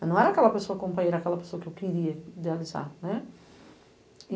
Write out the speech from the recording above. Mas não era aquela pessoa companheira, era aquela pessoa que eu queria idealizar. né.